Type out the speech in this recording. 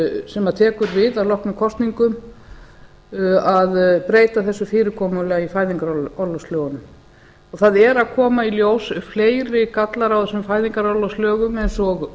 sem tekur við að loknum kosningum að breyta þessu fyrirkomulagi í fæðingarorlofslögunum það eru að koma í ljós fleiri gallar á þessum fæðingarorlofslögum eins og